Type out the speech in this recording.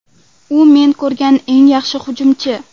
U men ko‘rgan eng yaxshi hujumchi.